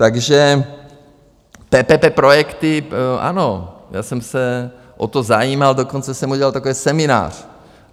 Takže PPP projekty - ano, já jsem se o to zajímal, dokonce jsem udělal takový seminář.